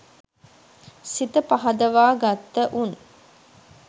සිත පහදවා ගත්තවුන්